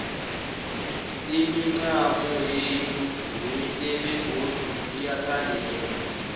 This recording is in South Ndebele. imincamo yethu mihle begodu iyathandeka